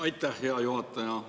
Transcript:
Aitäh, hea juhataja!